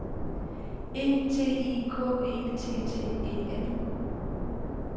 E T I K E T T E N